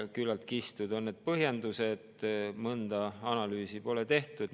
Küllaltki kistud on need põhjendused ja mõnda analüüsi pole tehtud.